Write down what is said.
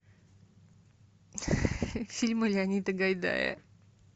фильмы леонида гайдая